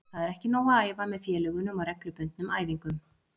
Það er ekki nóg að æfa með félögunum á reglubundnum æfingum.